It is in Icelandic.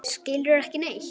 Skilurðu ekki neitt?